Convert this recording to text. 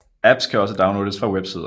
Apps kan også downloades fra websider